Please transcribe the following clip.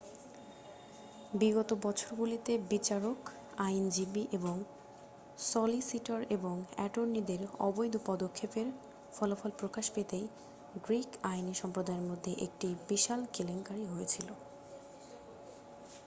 বিগত বছরগুলিতে বিচারক আইনজীবী সলিসিটর এবং অ্যাটর্নিদের অবৈধ পদক্ষেপের ফলাফল প্রকাশ পেতেই গ্রীক আইনী সম্প্রদায়ের মধ্যে একটি বিশাল কেলেঙ্কারী হয়েছিল